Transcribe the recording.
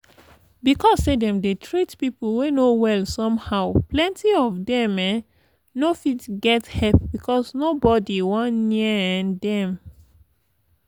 because say dem dey treat people wey no well somehow plenti of them um no fit get help because nobody one near um them.